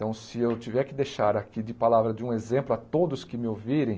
Então, se eu tiver que deixar aqui de palavra de um exemplo a todos que me ouvirem,